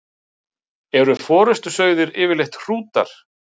Eru forystusauðir yfirleitt hrútar?